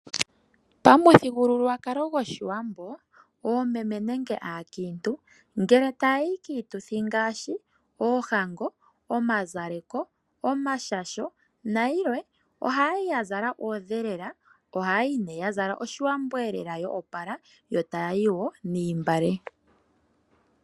Pamuthigululwakalo gwoshiwambo, oomeme nenge aakiintu, ngele taya yi kiituthi ngaashi oohango, omazaleko, omashasho nayilwe, ohayi ya zala oondhelela, ohaya yi nee ya zala oshiwambo elela yo opala, yo taya yi wo noontungwa.